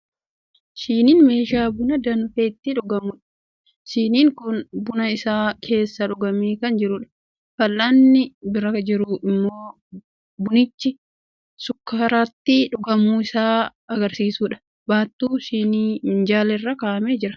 Shiniin meeshaa buna danfe itti dhugamudha. Shiniin kun bunni isaa keessaa dhugamee kan jirudha. Fal'aanni bira jiru immoo bunichi shukkaaratti dhugamuu isaa kan agarsiisudha. Baattuu shiniin minjaala irra kaa'amee jira.